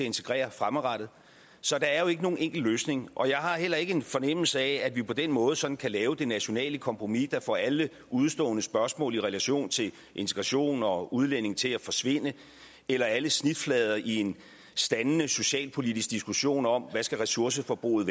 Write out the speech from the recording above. integrere fremadrettet så der er jo ikke nogen enkel løsning og jeg har heller ikke en fornemmelse af at vi på den måde sådan kan lave det nationale kompromis der får alle udestående spørgsmål i relation til integration og udlændinge til at forsvinde eller alle snitflader i en standende socialpolitisk diskussion om hvad ressourceforbruget